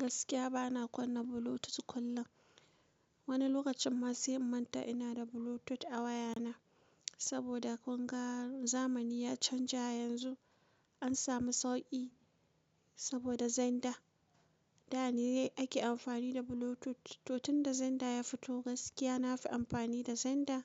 Gaskiya bana kunna Bluetooth kullum. Wani lokacin ma sai in man ta ina da Bluetooth a wayana saboda kunga zamani ya canja yanzu an samu sauƙi saboda zander. Da ne ake amfani da Bluetooth, to tunda zander ya fito gaskiya na fi amfani da zander